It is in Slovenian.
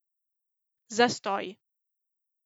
Zastoji.